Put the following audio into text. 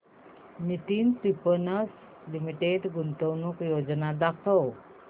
Nitin spinners limited गुंतवणूक योजना दाखव